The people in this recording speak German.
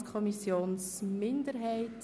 Wir kommen zum Themenblock 10.b Volksschule.